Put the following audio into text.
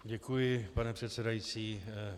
Děkuji, pane předsedající.